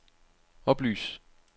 oplys